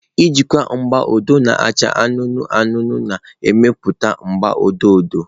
Ịgwakọta agba odo na acha anụnụ anụnụ na-emepụta agba odo odo.